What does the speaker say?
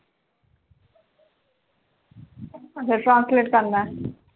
ਅੱਛਾ translate ਕਰਨਾ ਹੈ